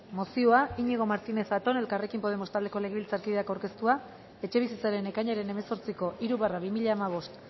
mozioa iñigo martínez zatón elkarrekin podemos taldeko legebiltzarkideak aurkeztua etxebizitzaren ekainaren hemezortziko hiru barra bi mila hamabost